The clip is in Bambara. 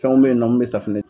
Fɛnw be yen nɔ mun be safunɛ